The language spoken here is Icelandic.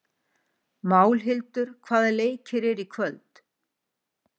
Málhildur, hvaða leikir eru í kvöld?